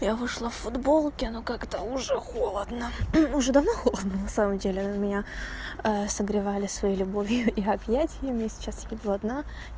я вышла в футболке ну когда уже холодно уже давно холодно на самом деле меня согревали своей любовью и объятиями сейчас я иду одна